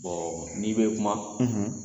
n'i bɛ kuma,